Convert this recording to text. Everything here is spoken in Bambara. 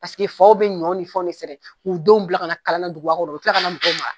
Paseke faw bi ɲɔ ni fɛnw de sɛnɛ k'u denw bila kana kalan duguba kɔnɔ u bi kila ka na mɔgɔw mara.